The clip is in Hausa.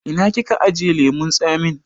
Ina kika ajiye lemun tsamin?